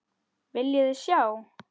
Viljiði sjá!